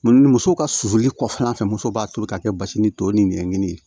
Muso ka susuli kɔfɛla fɛ muso b'a tobi ka kɛ basi ni to ni ɲɛɲini ye